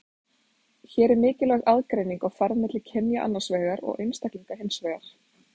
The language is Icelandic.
Hér er mikilvæg aðgreining á ferð milli kynja annars vegar og einstaklinga hins vegar.